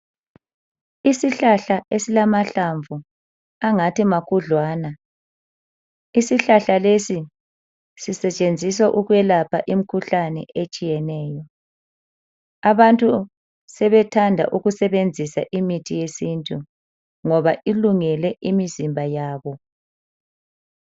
Isihlahla esilamahlamvu angathi makhudlwana. Isihlahla lesi sisetshenziswa ukwelapha imikhuhlane etshiyeneyo. Abantu sebethanda ukusebenzisa imithi yesintu ngoba ilungele imizimba yabo.